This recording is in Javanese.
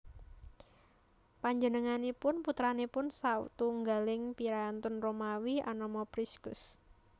Panjenenganipun putranipun sawtunggaling priyantun Romawi anama Priscus